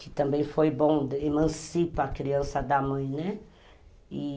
que também foi bom, emancipa a criança da mãe, né?